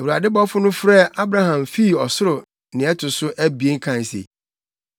Awurade bɔfo no frɛɛ Abraham fii ɔsoro nea ɛto so abien kae se,